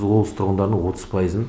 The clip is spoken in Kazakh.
облыс тұрғындарының отыз пайызын